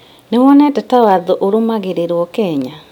Nĩwonete ta watho ũrũmagĩrĩrwo Kenya?